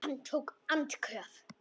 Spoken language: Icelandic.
Hann tók andköf.